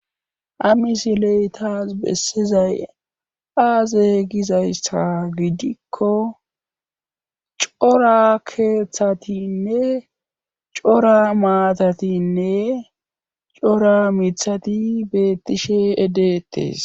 Hamisiley taas bessizay aaze gizayssa gidikko cora keeththatinne cora maatatinne cora mithati beettishe edeettes